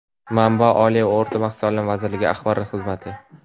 Manba: Oliy va o‘rta maxsus taʼlim vazirligi axborot xizmati.